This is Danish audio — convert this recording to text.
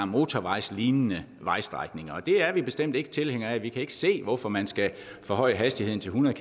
motorvejslignende vejstrækninger og det er vi bestemt ikke tilhængere af vi kan ikke se hvorfor man skal forhøje hastigheden til hundrede